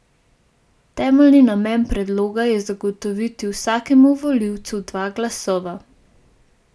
Temeljni namen predloga je zagotoviti vsakemu volivcu dva glasova.